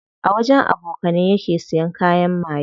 A wajen abokanai yake siya kayan maye.